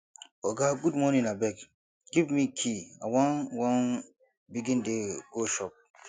oga good morning abeg give me key i wan wan begin dey go shop